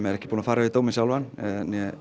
er ekki búinn að fara yfir dóminn sjálfan eða